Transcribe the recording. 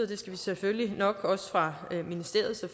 det skal vi selvfølgelig nok også fra ministeriets og